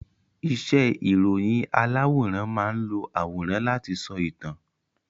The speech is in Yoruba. Iṣẹ́ ìròyìn aláwòrán máán lo àwòrán láti sọ ìtàn